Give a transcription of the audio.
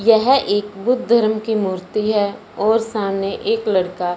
यह एक बुद्ध धर्म की मूर्ति है और सामने एक लड़का--